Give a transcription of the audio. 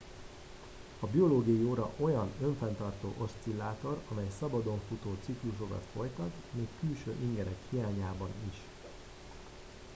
a biológiai óra olyan önfenntartó oszcillátor amely szabadon futó ciklusokat folytat még külső ingerek hiányában is